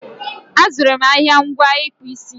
A zụrụ m ahịa ngwa ịkpụ isi